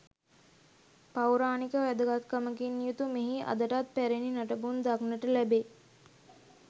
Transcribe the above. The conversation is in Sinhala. පෞරාණික වැදගත්කමකින් යුතු මෙහි අදටත් පැරැණි නටබුන් දක්නට ලැබේ.